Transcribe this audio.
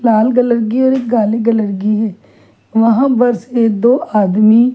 लाल colour की और एक काले कलर की है वहाँ पर से दो आदमी--